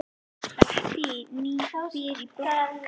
Bettý býr í blokk.